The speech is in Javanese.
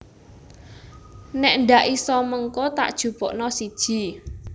Nek ndak iso mengko tak jupukno siji